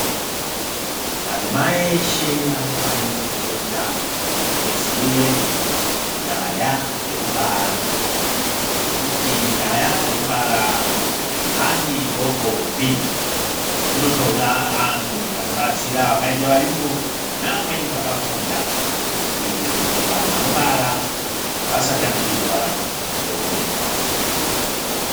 Madzimai eshe anofanire kufunda nekuziye nyaya dzekubara nekuti nyaya dzekubara handidokopi dzinotoda anhu anobatsira vakaita vayungu neamweni vakafunda kuti anhu anobara asatamikirwa ngeupenyu hwavo.